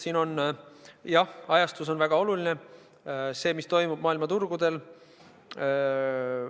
Siin on, jah, ajastus väga oluline, see, mis toimub maailma turgudel.